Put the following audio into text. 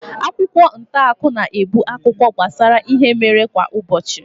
Akwụkwọ ntaakụkọ na-ebu akụkọ gbasara ihe mere kwa ụbọchị.